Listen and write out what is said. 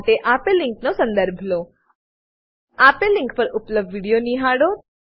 માટે આપેલ લીનક નો સંદર્ભ લો આપેલ લીંક પર ઉપલબ્ધ વિડીયો નિહાળો